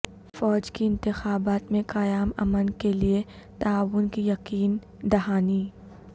فوج کی انتخابات میں قیام امن کے لیے تعاون کی یقین دہانی